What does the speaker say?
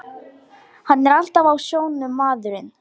Hann er alltaf á sjónum, maðurinn.